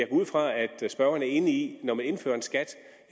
ud fra at spørgeren er enig i når man indfører et skat